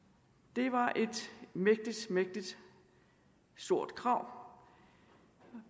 det var et mægtig stort krav